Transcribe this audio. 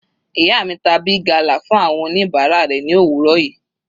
Ìyá mi ta Big gala fún àwọn oníbàárà rẹ̀ ni òwúrọ̀ yìí.